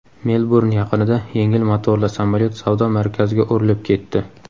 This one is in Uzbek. Melburn yaqinida yengil motorli samolyot savdo markaziga urilib ketdi.